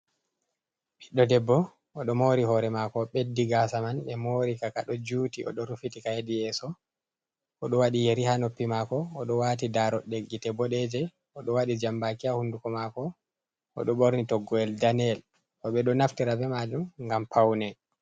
Ɓiɗdo debbo o ɗo mori hore mako, o ɓeddi gasa man. Ɓe mori ka kaɗo juti o ɗo rufiti ka hedi yeso. O ɗo waɗi yeri ha noppi mako o ɗo wati darugal gite boɗeje, o ɗo waɗi jambaki ha hunduko mako, o ɗo ɓorni toggowel daneyel, ɓe ɗo naftira be majum gam paune.